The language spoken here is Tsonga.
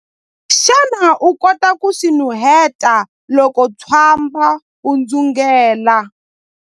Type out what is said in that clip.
Xana u kota ku swi nuheta loko ntswamba wu dzungela?